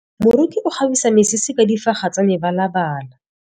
Moroki o kgabisa mesese ka difaga tsa mebalabala.